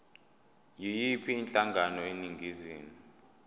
yiyiphi inhlangano eningizimu